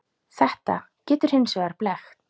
Þetta getur hins vegar blekkt.